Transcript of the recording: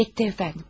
Yetdi əfəndim.